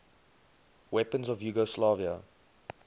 weapons of yugoslavia